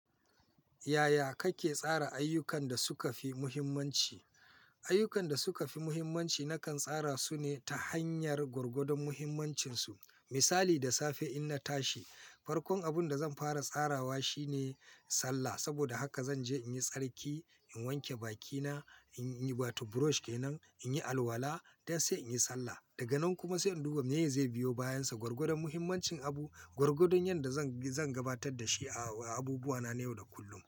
Yaya kake tsara ayyukan da suka fi muhimmanci? Ayyukan da suka fi muhimmanci nakan tsara su ne ta hanyar gwargwadon muhimmancinsu. Misali da safe in na tashi, farkon abin da zan fara tsarawa shi ne sallah. Saboda haka zan je in yi tsarki, in wanke bakina, in yi wato burosh kenan, in yi alwala, dai sai in yi sallah. Daga nan kuma sai in duba me zai biyo bayansa. Gwargwadon muhimmancin abu, gwargwadon yadda zan gabatar da shi a abubuwa na na yau da kullum.